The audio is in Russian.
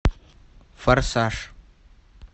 форсаж